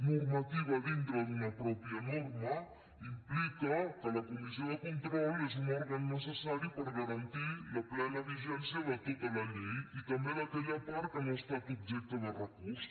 normativa dintre d’una pròpia norma implica que la comissió de control és un òrgan necessari per a garantir la plena vigència de tota la llei i també d’aquella part que no ha estat objecte de recurs